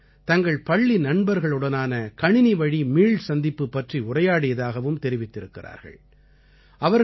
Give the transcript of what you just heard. இதில் அவர்கள் தங்கள் பள்ளி நண்பர்களுடனான கணினிவழி மீள்சந்திப்பு பற்றி உரையாடியதாகவும் தெரிவித்திருக்கிறார்கள்